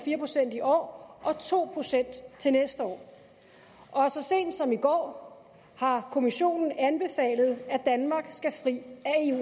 en procent i år og to procent til næste år og så sent som i går har kommissionen anbefalet at danmarks skal fri